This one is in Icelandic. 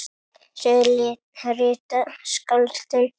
Sögu rita skáldin best.